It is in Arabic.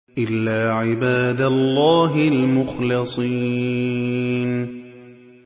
إِلَّا عِبَادَ اللَّهِ الْمُخْلَصِينَ